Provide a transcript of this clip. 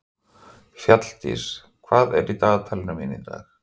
Fjalldís, hvað er í dagatalinu mínu í dag?